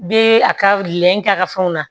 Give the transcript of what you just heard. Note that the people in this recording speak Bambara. U bɛ a ka lɛn k'a ka fɛnw na